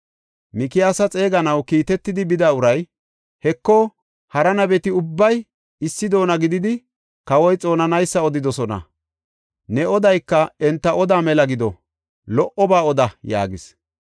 Mikiyaasa xeeganaw kiitetidi bida uray, “Heko, hara nabeti ubbay issi doona gididi kawoy xoonanaysa odidosona. Ne odayka enta odaa mela gido; lo77oba oda” yaagis.